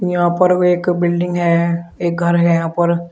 यहां पर एक बिल्डिंग है एक घर है यह पर।